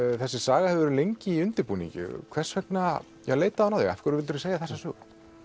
þessi saga hefur verið lengi í undirbúningi hvers vegna leitaði hún á þig af hverju vildirðu segja þessa sögu